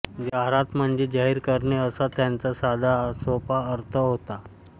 जाहीरात म्हणजे जाहीर करणे असा त्याचा साधासोपा अर्थ होतो